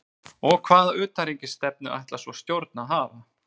Og hvaða utanríkisstefnu ætlar svona stjórn að hafa?